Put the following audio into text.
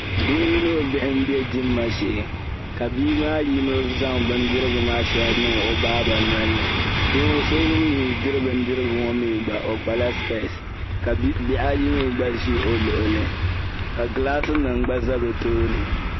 Doo mini o bihi m-be dimma shee ka bii maa yino zaŋ bindirigu maa shɛli niŋ o baa ba nolini do'so ŋun mii diri bindirigu ŋɔ mii gba o kpa la specks ka bihi ayi mii gba ʒi o luɣili ka gilaasinima gba za o tooni.